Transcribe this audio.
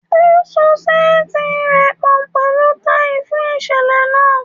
O so seeti rẹ pọ pẹlu tai fun iṣẹlẹ naa